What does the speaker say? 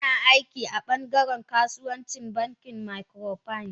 Ina aiki a bangaren kasuwa ci a bankin microfinance.